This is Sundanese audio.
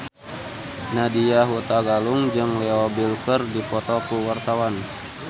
Nadya Hutagalung jeung Leo Bill keur dipoto ku wartawan